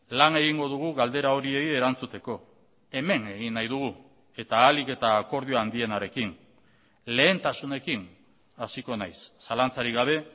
lan egingo dugu galdera horiei erantzuteko hemen egin nahi dugu eta ahalik eta akordio handienarekin lehentasunekin hasiko naiz zalantzarik gabe